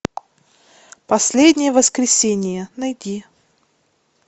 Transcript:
последнее воскресенье найди